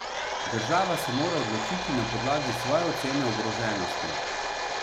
Država se mora odločiti na podlagi svoje ocene ogroženosti.